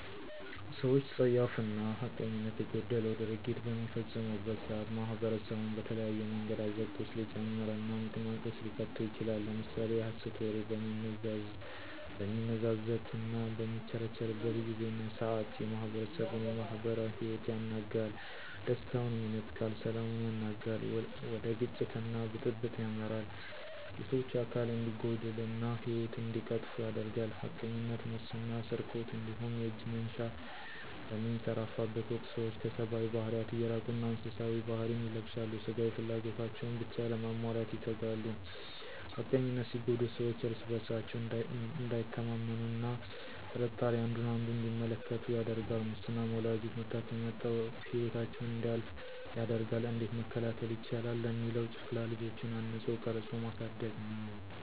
ሰወች ፀያፍና ሐቀኝነት የጎደለው ድርጊት በሚፈጽሙበት ሰዓት ማኅበረሰቡን በተለያየ መንገድ አዘቅት ውስጥ ሊጨምርና ምቅማቅ ውስጥ ሊከተው ይችላል። ለምሳሌ የሀሰት ወሬ በሚነዛዘትና በሚቸረቸርበት ጊዜና ሰዓት የማህበረሰቡን የማህበራዊ ሂወት ያናጋል፥ ደስታውንም ይነጥቃል፥ ሰላሙን ያናጋል፥ ወደ ግጭትና ብጥብጥ ያመራል፣ የሰወች አካል እንዲጎድልና ሂወት እንዲቀጠፉ ያደርጋል። ሀቀኝነት፥ ሙስና ስርቆት እንዲሁም የእጅ መንሻ በሚንሰራፋበት ወቅት ሰወች ከሰባዊ ባህሪያት እየራቁና እንስሳዊ ባህሪ ን ይለብሳሉ ስጋዊ ፍላጎታቸውን ብቻ ለማሟላት ይተጋሉ። ሀቀኝነነት ሲጎድል ሰወች እርስ በርሳቸው እንዳይተማመኑ አና ቀጥርጣሬ አንዱ አንዱን እንዲመለከቱ ያደርጋል። ሙስናም ወላዶች መታከሚያ አተው ሂወታቸው እንዲያልፍ ያደርጋል። እንዴት መከላከል ይቻላል ለሚለው ጨቅላ ልጆችን አንጾ ቀርጾ ማሳደግ ነወ።